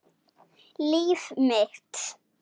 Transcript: Líf mitt.